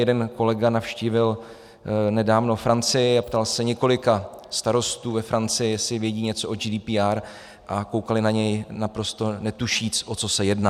Jeden kolega navštívil nedávno Francii a ptal se několika starostů ve Francii, jestli vědí něco o GDPR, a koukali na něj naprosto netušíce, o co se jedná.